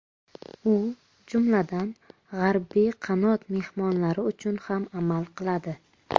U, jumladan, G‘arbiy qanot mehmonlari uchun ham amal qiladi.